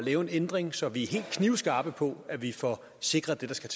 lave en ændring så vi er knivskarpe på at vi får sikret det der skal